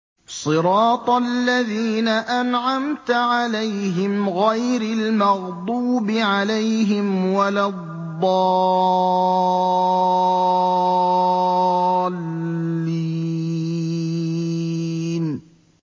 صِرَاطَ الَّذِينَ أَنْعَمْتَ عَلَيْهِمْ غَيْرِ الْمَغْضُوبِ عَلَيْهِمْ وَلَا الضَّالِّينَ